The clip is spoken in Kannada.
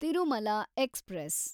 ತಿರುಮಲ ಎಕ್ಸ್‌ಪ್ರೆಸ್